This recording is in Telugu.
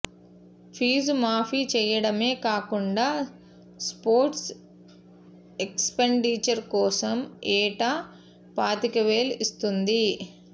ఫీజు మాఫీ చేయడమే కాకుండా స్పోర్ట్స్ ఎక్స్పెండిచర్ కోసం ఏటా పాతికవేలిస్తోంది